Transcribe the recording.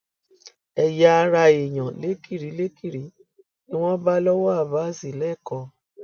ẹyàara èèyàn lékirilékiri ni wọn bá lọwọ abas lẹkọọ